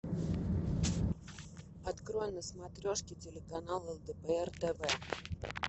открой на смотрешке телеканал лдпр тв